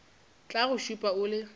tla go šupa o le